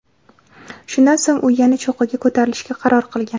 Shundan so‘ng u yana cho‘qqiga ko‘tarilishga qaror qilgan.